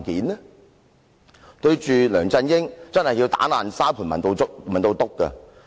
面對梁振英，確實需要"打爛沙盤問到篤"。